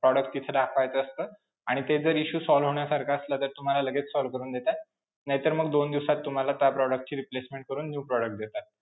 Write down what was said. Product तिथं दाखवायचं असतं आणि ते जर issue solve होण्यासारखं असलं, तर तुम्हाला लगेच solve करून देतात, नाहीतर मग दोन दिवसात तुम्हाला त्या product ची replacement करून new product देतात.